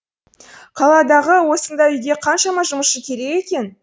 қаладағы осындай үйге қаншама жұмысшы керек екен